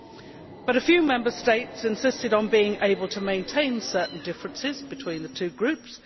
However, a few Member States have insisted on being able to maintain certain differences between the two groups.